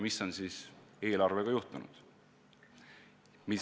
” Mis on siis eelarvega juhtunud?